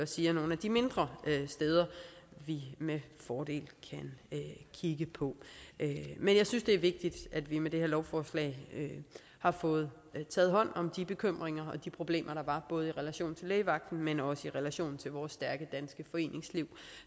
siger nogle af de mindre steder vi med fordel kan kigge på men jeg synes det er vigtigt at vi med det her lovforslag har fået taget hånd om de bekymringer og de problemer der var både i relation til lægevagten men også i relation til vores stærke danske foreningsliv